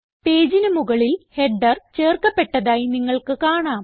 പേജിന് മുകളിൽ ഹെഡർ ചേർക്കപ്പെട്ടതായി നിങ്ങൾക്ക് കാണാം